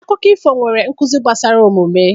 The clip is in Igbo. Akụkọ ifo nwere nkuzi gbasara omume.